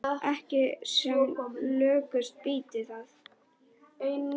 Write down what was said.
Ekki sem lökust býti það.